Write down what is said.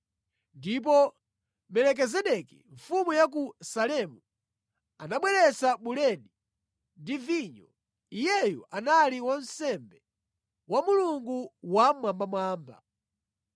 Ndipo Melikizedeki mfumu ya ku Salemu anabweretsa buledi ndi vinyo. Iyeyu anali wansembe wa Mulungu Wammwambamwamba,